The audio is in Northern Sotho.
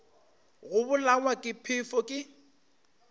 go bolawa ke phefo ke